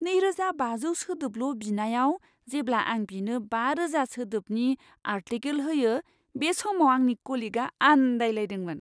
नैरोजा बाजौ सोदोबल' बिनायाव जेब्ला आं बिनो बारोजा सोदोबनि आर्टिकेल होयो बे समाव आंनि कलिगआ आन्दायलायदोंमोन।